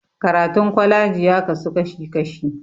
Karatun kwalaji ya kasu kashi kashi